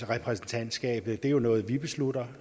repræsentantskab det er jo noget vi beslutter